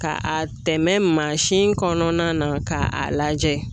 Ka a tɛmɛ mansin kɔnɔna na k'a lajɛ